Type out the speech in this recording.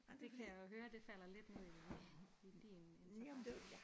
Det kan jeg jo høre det falder lidt ned i i din interesse